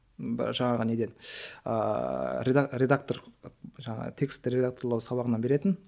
жаңағы неден ыыы редактор жаңағы тексті редакторлау сабағынан беретін